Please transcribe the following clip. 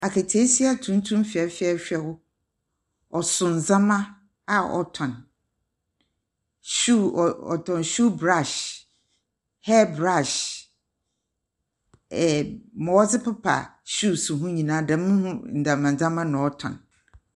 Akataasia tuntum fɛfɛɛfɛw, ɔso ndzɛmba a ɔtɔn, shoe ɔɔ ɔtɔn shoe brush, hair brush, ɛɛɛ dza wɔdze pepa shoes ho nyina dɛm ho ndzɛmba ndzɛmba na ɔtɔn.